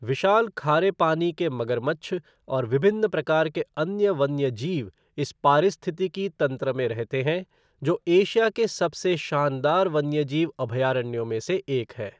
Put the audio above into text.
विशाल खारे पानी के मगरमच्छ और विभिन्न प्रकार के अन्य वन्यजीव इस पारिस्थितिकी तंत्र में रहते हैं, जो एशिया के सबसे शानदार वन्यजीव अभयारण्यों में से एक है।